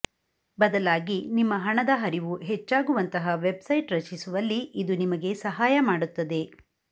ಬದಲಾಗಿ ನಿಮ್ಮ ಹಣದ ಹರಿವು ಹೆಚ್ಚಾಗುವಂತಹ ವೆಬ್ಸೈಟ್ ರಚಿಸುವಲ್ಲಿ ಇದು ನಿಮಗೆ ಸಹಾಯ ಮಾಡುತ್ತದೆ